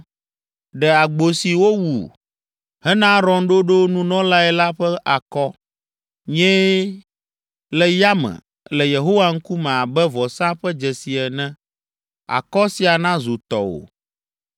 Ɖe agbo si wòwu hena Aron ɖoɖo nunɔlae la ƒe akɔ. Nyee le yame le Yehowa ŋkume abe vɔsa ƒe dzesi ene. Akɔ sia nazu tɔwò.